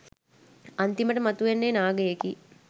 අන්තිමට මතුවන්නේ නාගයෙකි.